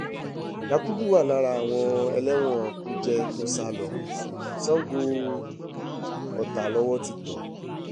yakubu wà lára àwọn ẹlẹ́wọ̀n kújẹ́ tó sá lọ sango-ọta lowó ti tẹ̀ é